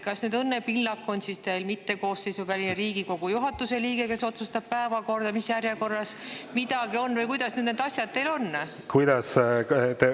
Kas Õnne Pillak on teil koosseisuväline Riigikogu juhatuse liige, kes otsustab, mis järjekorras päevakorras midagi on, või kuidas need asjad teil on?